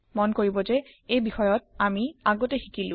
মন কৰিব যে এই বিষয়ত আমি আগতে শিকিলো